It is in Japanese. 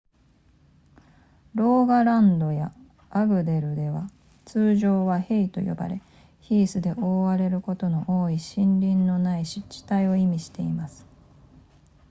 ローガランドやアグデルでは通常はヘイと呼ばれヒースで覆われることの多い森林のない湿地帯を意味しています